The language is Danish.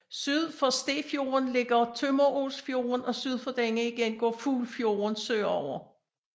Syd for Stefjorden ligger Tømmeråsfjorden og syd for denne igen går Fuglfjorden sørover